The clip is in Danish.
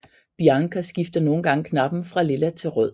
Bianca skifter nogle gange kappen fra lilla til rød